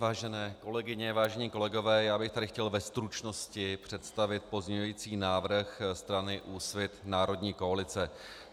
Vážené kolegyně, vážení kolegové, já bych tady chtěl ve stručnosti představit pozměňující návrh strany Úsvit národní koalice.